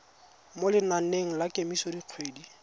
mo lenaneng la kemiso dikgwedi